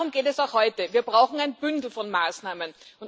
Darum geht es auch heute, wir brauchen ein Bündel von Maßnahmen.